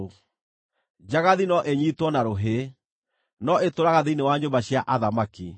njagathi no inyiitwo na rũhĩ, no ĩtũũraga thĩinĩ wa nyũmba cia athamaki.